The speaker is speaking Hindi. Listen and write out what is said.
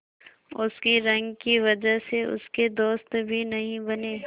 उसकी रंग की वजह से उसके दोस्त भी नहीं बने